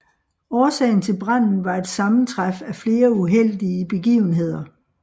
Årsagen til branden var et sammentræf af flere uheldige begivenheder